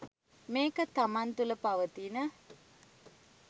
මේක තමන් තුළ පවතින